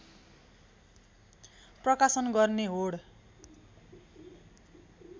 प्रकाशन गर्ने होड